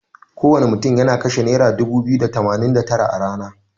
Kowana mutun yana kashe naira dubu biyu da tamanin da tara a rana.